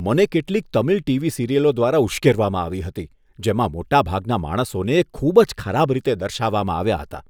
મને કેટલીક તમિલ ટીવી સિરિયલો દ્વારા ઉશ્કેરવામાં આવી હતી, જેમાં મોટાભાગના માણસોને ખૂબ જ ખરાબ રીતે દર્શાવવામાં આવ્યા હતા.